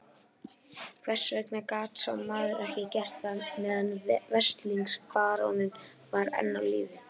Hvers vegna gat sá maður ekki gert það meðan veslings baróninn var enn á lífi?